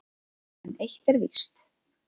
En eitt er víst: